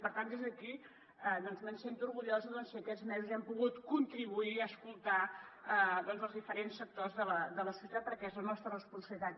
i per tant des d’aquí em sento orgullosa si aquests mesos hem pogut contribuir a escoltar els diferents sectors de la societat perquè és la nostra responsabilitat